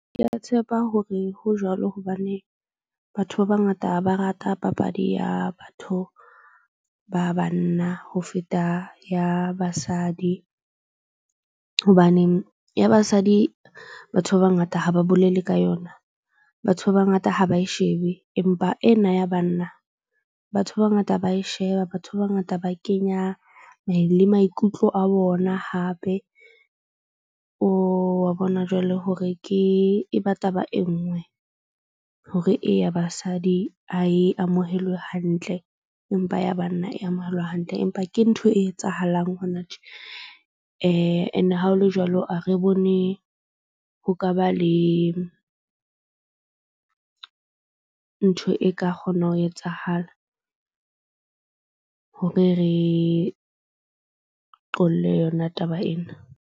Ke a tshepa hore ho jwalo hobane batho ba bangata ha ba rate ha papadi ya batho ba banna ho feta ya basadi. Hobaneng ya basadi batho ba bangata ha ba bolele ka yona. Batho ba bangata ha ba e shebe empa ena ya banna batho ba bangata ba e sheba. Batho ba bangata ba kenya le maikutlo a bona hape o wa bona jwale hore ke ebe taba e nngwe. Hore e ya basadi ha e amohelwe hantle, empa ya banna e amohelwa hantle. Empa ke ntho e etsahalang hona tje. Ene ha ho le jwalo, a re bone ho ka ba le ntho e ka kgona ho etsahala hore re qolle yona taba ena.